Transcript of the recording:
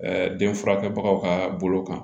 den furakɛbagaw ka bolo kan